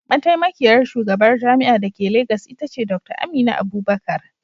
Mataimakiyar shugabar jami'ar da ke Legas ita ce Dr. Amina Abubakar.